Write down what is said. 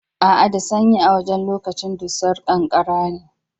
A'a da sanyi a wajen lokacin dusar ƙanƙara ne.